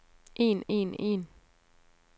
en en en